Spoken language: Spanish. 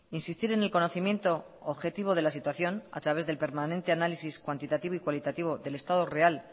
insistir en el conocimiento objetivo de la situación a través del permanente análisis cuantitativo y cualitativo del estado real